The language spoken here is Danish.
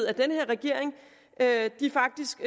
at den her regering faktisk